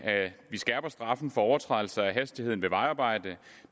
skærper straffen for overtrædelser af hastigheden ved vejarbejder